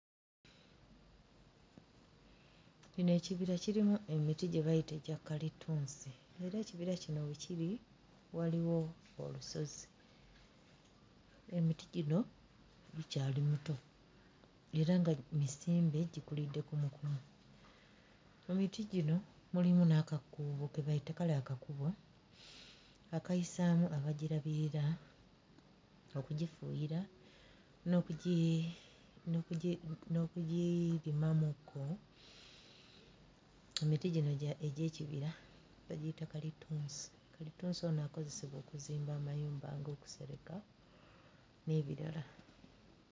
Kino ekibira kirimu emiti gye bayita egya kalitunsi era ekibira kino we kiri waliwo olusozi emiti gino gikyali mito era nga misimbe gikulidde kumukumu mu miti gino mulimu n'akakuubo ke bayita kale akakubo bakayisaamu abagirabirira okugifuuyira n'okugi n'okugi mm n'okugirimamu kko. Emiti gino egya egy'ekibira abagiyita kalitunsi, kalitunsi ono akozesebwa okuzimba amayumba ng'okusereka n'ebirala.